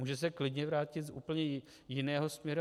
Může se klidně vrátit z úplně jiného směru.